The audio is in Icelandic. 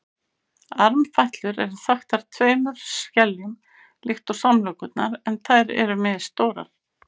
armfætlur eru þaktar tveimur skeljum líkt og samlokurnar en þær eru misstórar